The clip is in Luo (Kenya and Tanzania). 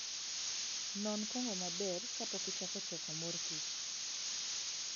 Non kong'o maber kapok ichako choko mor kich.